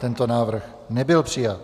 Tento návrh nebyl přijat.